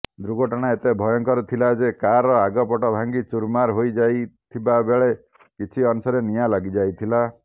ଦୁର୍ଘଟଣା ଏତେ ଭୟଙ୍କର ଥିଲା ଯେ କାରର ଆଗପଟ ଭାଙ୍ଗି ଚୁରମାର ହୋଇଯାଇଥିବାବେଳେ କିଛି ଅଂଶରେ ନିଆଁ ଲାଗିଯାଇଥିଲା